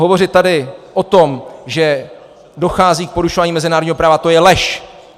Hovořit tady o tom, že dochází k porušování mezinárodního práva, to je lež.